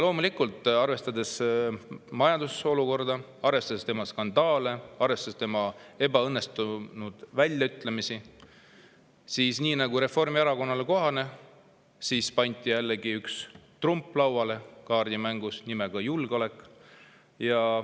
Loomulikult, arvestades majandusolukorda, arvestades tema skandaale, arvestades tema ebaõnnestunud väljaütlemisi, pandi nii, nagu Reformierakonnale kohane, jällegi kaardimängus lauale trump nimega julgeolek.